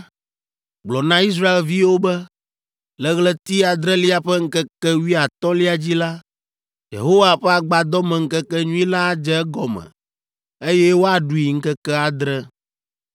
“Gblɔ na Israelviwo be, ‘Le ɣleti adrelia ƒe ŋkeke wuiatɔ̃lia dzi la, Yehowa ƒe Agbadɔmeŋkekenyui la adze egɔme eye woaɖui ŋkeke adre.